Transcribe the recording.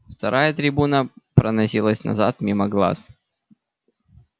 вторая трибуна проносится назад мимо глаз